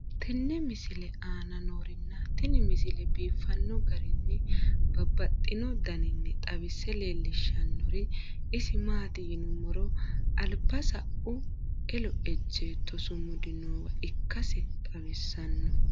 tenne misile aana noorina tini misile biiffanno garinni babaxxinno daniinni xawisse leelishanori isi maati yinummoro alibba sau elo ejjeetto sumudi noowa ikkassi xawissanno.